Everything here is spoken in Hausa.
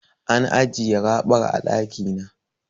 An ajiye raɓar a ɗaki na.